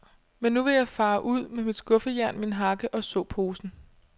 Men nu vil jeg fare ud med mit skuffejern, min hakke og såposen.